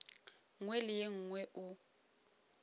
nngwe le ye nngwe o